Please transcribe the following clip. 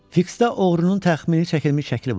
Fiksdə oğrunun təxmini çəkilmiş şəkli vardı.